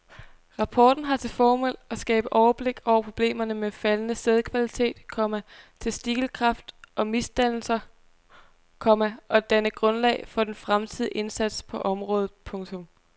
Rapporten har til formål at skabe overblik over problemerne med faldende sædkvalitet, komma testikelkræft og misdannelser, komma og danne grundlag for den fremtidige indsats på området. punktum